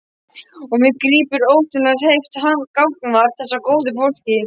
Og mig grípur óstjórnleg heift gagnvart þessu góða fólki.